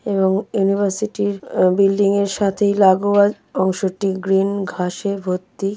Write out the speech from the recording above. এবংইউনিভার্সিটি র আ- বিল্ডিং -এর সাথেই লাঘুয়াল অংশটি গ্রীন ঘাসে ভর্তি।